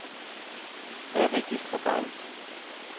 Hvad er vigtigst for dig?